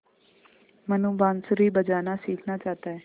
मनु बाँसुरी बजाना सीखना चाहता है